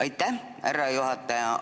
Aitäh, härra juhataja!